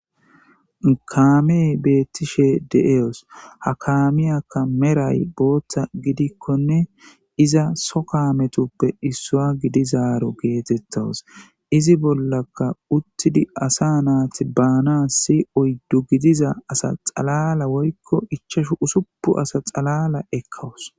kaamee beettishe de7eyos ha kaamiyakka meray bootta gidikkonne iza so kametuppe issua gidizaaro geetettawus izi bollaka uttidi asa naati baana si oyddu gidiza asa xalala workko ichashu usupu asa xalala ekkawus